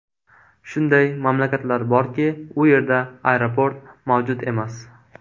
Shunday mamlakatlar borki, u yerda aeroport mavjud emas.